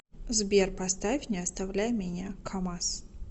сбер поставь не оставляй меня камаз